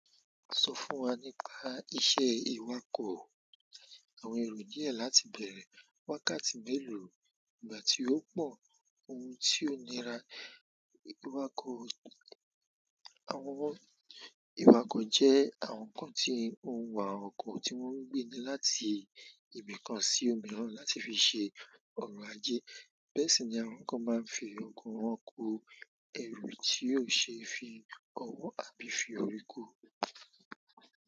Sọ fún wa nípa iṣẹ́ ìwakọ̀. Àwọn èrò díẹ̀ láti bẹ̀rẹ̀, wákàtí mélòó, ìgbà tí ó pọ̀, ohun tí ó nira. Àwọn ìwakọ̀ jẹ́ àwọn kan tí ó ń wa ọkọ̀ tí wọ́n ń gbé ní láti ibì kan sí òmíràn láti fi ṣe ọrọ̀ ajé. Bẹ́ẹ̀ si ni àwọn kan máa n fi ọkọ wọn ko eru ti o se fi ọwọ àbí fi orí kó.